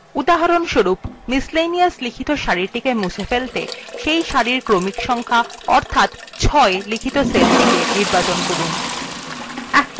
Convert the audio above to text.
উদাহরণস্বরূপ যে সারিতে laundry লেখা আছে সেটিকে মুছে ফেলতে প্রথমে cell cellthe নির্বাচন করুন যাতে সেটির ক্রমিক সংক্যা অর্থাৎ ৬ আছে